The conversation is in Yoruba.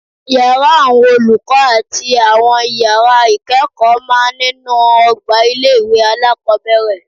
Yàrá àwọn olùkọ́ àti àwọn ìyàrá ìkẹ́kọ̀ọ́ máa nínú ọgbà ilé-ìwé alákọ́bẹ̀rẹ̀